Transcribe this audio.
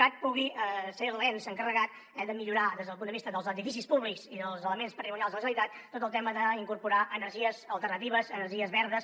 cat pugui ser l’ens encarregat de millorar des del punt de vista dels edificis públics i dels elements patrimonials de la generalitat tot el tema d’incorporar energies alternatives energies verdes